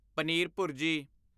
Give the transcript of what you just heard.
paneer ਭੁਰਜੀ